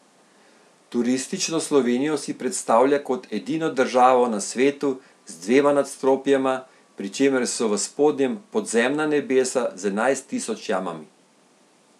Turistično Slovenijo si predstavlja kot edino državo na svetu z dvema nadstropjema, pri čemer so v spodnjem podzemna nebesa z enajst tisoč jamami.